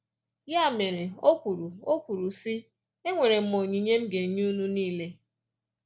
Ya mere, o kwuru, o kwuru, sị: “Enwere m onyinye m ga-enye unu nile.”